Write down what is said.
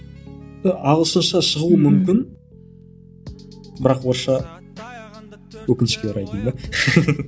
ағылшынша шығуы мүмкін бірақ орысша өкінішке орай дейін бе